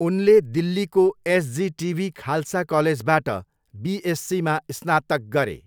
उनले दिल्लीको एसजिटिबी खालसा कलेजबाट बिएससीमा स्नातक गरे।